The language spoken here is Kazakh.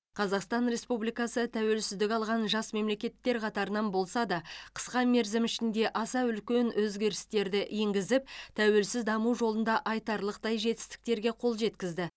қазақстан республикасы тәуелсіздік алған жас мемлекеттер қатарынан болса да қысқа мерзім ішінде аса үлкен өзгерістерді енгізіп тәуелсіз даму жолында айтарлықтай жетістіктерге қол жеткізді